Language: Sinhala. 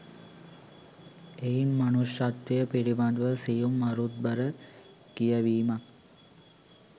එයින් මනුෂ්‍යත්වය පිළිබඳ සියුම් අරුත්බර කියැවීමක්